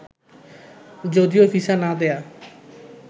যদিও ভিসা না দেয়া